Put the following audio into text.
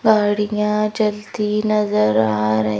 गाड़ियां चलती नजर आ र--